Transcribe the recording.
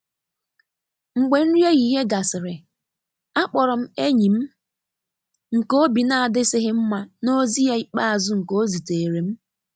Mgbe nri ehihie gasịrị, akpọrọ m enyi m nke obi n'adisighi mma n’ozi ya ikpeazụ nke o zitere m.